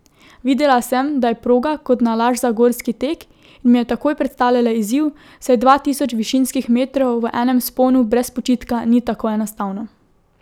Videla sem, da je proga kot nalašč za gorski tek in mi je takoj predstavljala izziv, saj dva tisoč višinskih metrov v enem vzponu brez počitka ni tako enostavno.